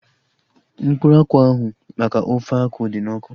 Mkpụrụ akwụ ahu maka ofe akwụ dị n'ọkụ